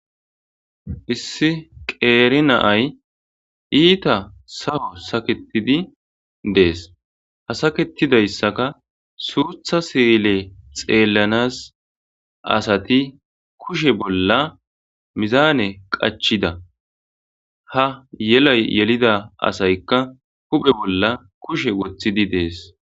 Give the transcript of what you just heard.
Issi qeeri naay iita sawo saketidi dees hasaketidayssaka suutha siile xeellanas asati kushe bolla mizaane qachida ha yelay yelida asaykka huphe bolla kushe woththidi dees.